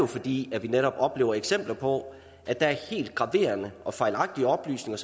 fordi vi netop oplever eksempler på at helt graverende og fejlagtige oplysninger